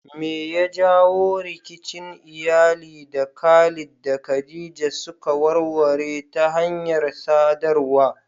Me ya jawo rikicin iyali da Khalid da Khadija suka warware ta hanyar sadarwa?